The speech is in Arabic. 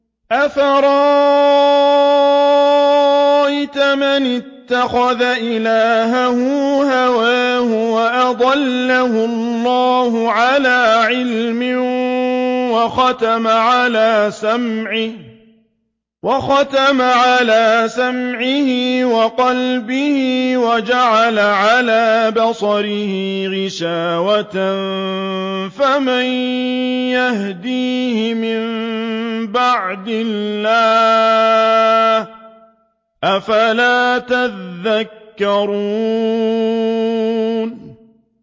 أَفَرَأَيْتَ مَنِ اتَّخَذَ إِلَٰهَهُ هَوَاهُ وَأَضَلَّهُ اللَّهُ عَلَىٰ عِلْمٍ وَخَتَمَ عَلَىٰ سَمْعِهِ وَقَلْبِهِ وَجَعَلَ عَلَىٰ بَصَرِهِ غِشَاوَةً فَمَن يَهْدِيهِ مِن بَعْدِ اللَّهِ ۚ أَفَلَا تَذَكَّرُونَ